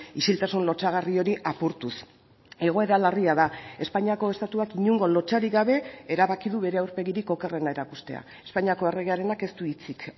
isiltasun lotsagarri hori apurtuz egoera larria da espainiako estatuak inongo lotsarik gabe erabaki du bere aurpegirik okerrena erakustea espainiako erregearenak ez du hitzik